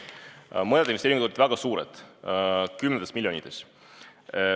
Mõned investeeringud on väga suured, kümnetes miljonites.